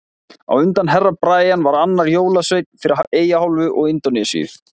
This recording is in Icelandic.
Á undan Herra Brian var annar jólasveinn fyrir Eyjaálfu og Indónesíu.